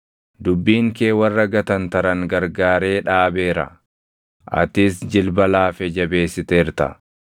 Dubbiin kee warra gatantaran gargaaree dhaabeera; atis jilba laafe jabeessiteerta.